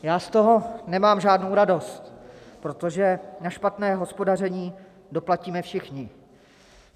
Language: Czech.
Já z toho nemám žádnou radost, protože na špatné hospodaření doplatíme všichni.